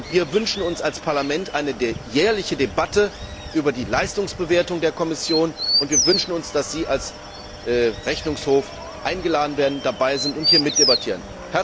Wir wünschen uns als Parlament eine jährliche Debatte über die Leistungsbewertung der Kommission und wir wünschen uns, dass Sie als Vertreter des Rechnungshofs eingeladen werden, dabei sind und hier mitdebattieren.